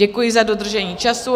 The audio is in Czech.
Děkuji za dodržení času.